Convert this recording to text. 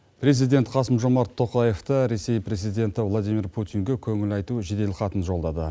президент қасым жомарт тоқаевта ресей президенті владимир путинге көңіл айту жеделхатын жолдады